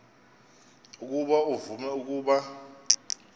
ukuba uvume ukuba